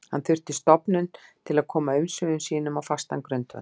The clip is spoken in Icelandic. Hann þurfti stofnun til að koma umsvifum sínum á fastan grundvöll.